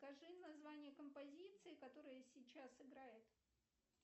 скажи название композиции которая сейчас играет